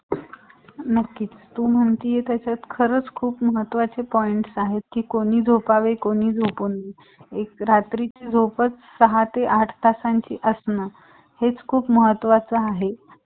franchise जास्त गेल्यावर मग आम्हाला मशिनी आणायला लागतील मग कपड्याला